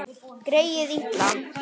Greyið litla!